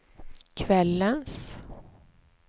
kvällens